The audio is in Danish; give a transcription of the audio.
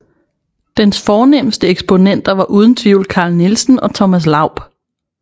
Dens fornemste eksponenter var uden tvivl Carl Nielsen og Thomas Laub